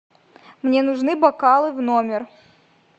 мне нужны бокалы в номер